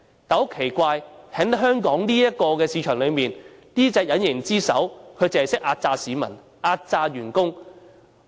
但是，香港這個市場很奇怪，這隻隱形之手只會壓榨市民、壓榨員工。